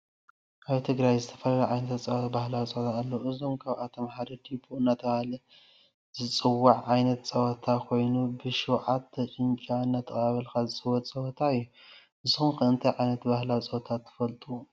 አብ ትግራይ ዝተፈላለዩ ዓይነት ባህላዊ ፀወታታት አለዉ እዩም። ካብአቶም ሓደ ዲቦ እናተባህለ ዝፀዋዐ ዓይነት ፀወታ ኮይኑ ብ ሽውዓተ ጭንጫ እናቆለብካ ዝፅወት ፀወታ እዩ። ንስኩም ከ እንታይ ዓይነት ባህላዊ ፀወታ ትፈልጡ?